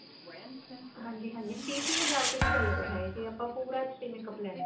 ਹਾਂਜੀ ਹਾਂਜੀ ਤੀਹ ਤੀਹ ਹਜ਼ਾਰ ਚ ਵੀ ਚੱਲ ਰਿਹਾ ਇਹ ਜੇ ਆਪਾਂ ਪੂਰਾ makeup ਲੈਣਾ